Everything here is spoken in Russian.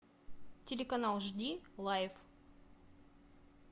телеканал жди лайф